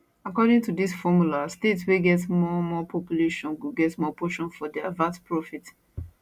according to dis formula states wey get more more population go get more portion from di vat profit